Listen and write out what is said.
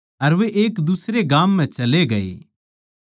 अर वे किसे दुसरै गाम म्ह चले गये